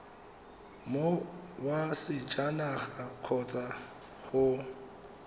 mong wa sejanaga kgotsa go